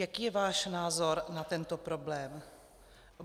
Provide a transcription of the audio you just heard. Jaký je váš názor na tento problém?